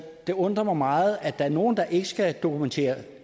det undrer mig meget at der er nogle der ikke skal dokumentere